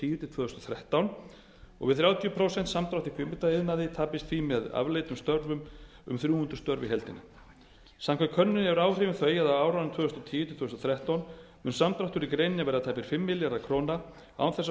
tíu til tvö þúsund og þrettán við þrjátíu prósent samdrátt í kvikmyndaiðnaði tapist því með afleiddum störfum um þrjú hundruð störf í heildina samkvæmt könnuninni eru áhrifin þau að á árunum tvö þúsund og tíu til tvö þúsund og þrettán mun samdráttur í greininni verða tæpir fimm milljarðar króna án þess að